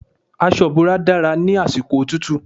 Aṣọ ìbora dára ní àsìkò òtútù.